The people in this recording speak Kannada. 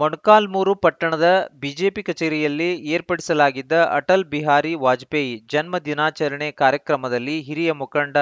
ಮೊಣ್ ಕಾಲ್ಮುರು ಪಟ್ಟಣದ ಬಿಜೆಪಿ ಕಚೇರಿಯಲ್ಲಿ ಏರ್ಪಡಿಸಲಾಗಿದ್ದ ಅಟಲ್‌ ಬಿಹಾರಿ ವಾಜಪೇಯಿ ಜನ್ಮ ದಿನಾಚರಣೆ ಕಾರ್ಯಕ್ರಮದಲ್ಲಿ ಹಿರಿಯ ಮುಖಂಡ